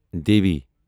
Devi